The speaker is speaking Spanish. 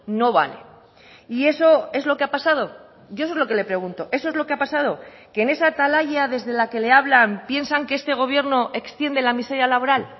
no vale y eso es lo que ha pasado yo eso es lo que le pregunto eso es lo que ha pasado que en esa atalaya desde la que le hablan piensan que este gobierno extiende la miseria laboral